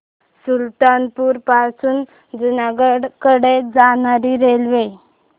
सुल्तानपुर पासून जुनागढ कडे जाणारी रेल्वे